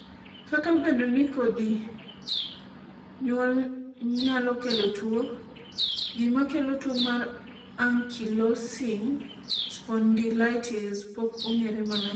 kata obedo ni kodhi nyuol nyalo kelo tuo, gima kelo tuo mar Ankylosing spondylitis pok ong'ere maler